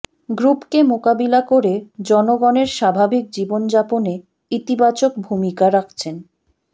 গ্রুপকে মোকাবিলা করে জনগণের স্বাভাবিক জীবনযাপনে ইতিবাচক ভূমিকা রাখছেন